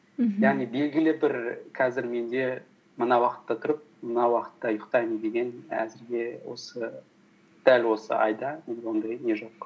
мхм яғни белгілі бір қазір менде мына уақытта тұрып мына уақытта ұйықтаймын деген әзірге дәл осы айда менде ондай не жоқ